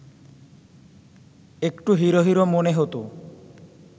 একটু hero hero মনে হতো